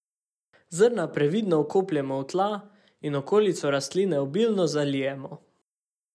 Zrna previdno vkopljemo v tla in okolico rastline obilno zalijemo.